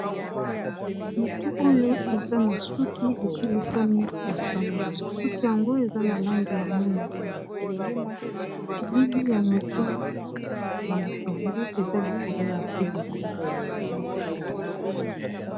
Motu oyo eza na suki esilisami ko sanolama, suki yango eza na langi ya mwindu elili ya motu ya motu ango eza likolo ya feliko.